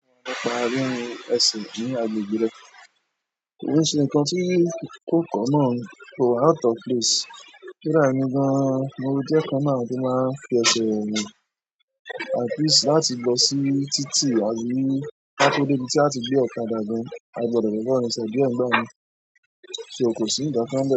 Ẹsẹ̀ ní agbègbè rẹ̀. Kìí ṣe nkán tí kò tọọ náà kò wá out of place kódà emì gàn mo jẹ nkan nínú àwọn tó máa ń fi ẹsẹ̀ rin at least láti lọ́ sí títì àbí kátó dé ibi tí a ti gbé ọ̀kadà gan. A gbọdọ̀ lè máa rinṣẹ̀ diẹ náà, so kò sí nkankan bẹ́ẹ̀.